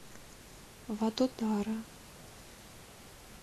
вадодара